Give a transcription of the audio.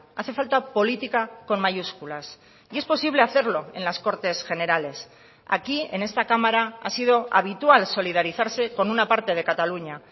hace falta política con mayúsculas y es posible hacerlo en las cortes generales aquí en esta cámara ha sido habitual solidarizarse con una parte de cataluña